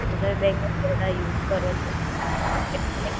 એ bank choose કરવાની, ધારો કે તમે bank of Baroda માં તમારું Account છે